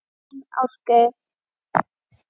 Þinn Ásgeir.